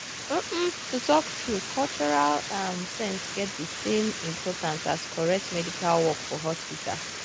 um to um to talk true cultural sense get the same importance as correct medical work for hospital.